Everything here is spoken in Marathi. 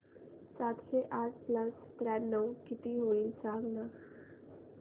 सातशे आठ प्लस त्र्याण्णव किती होईल सांगना